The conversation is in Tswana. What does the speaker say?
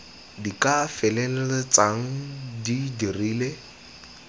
di ka feleltsang di dirile